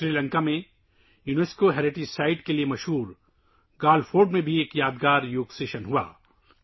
سری لنکا میں یونیسکو کے ثقافتی ورثے کے لیے مشہور گالے فورٹ میں ایک یادگار یوگا سیشن بھی ہوا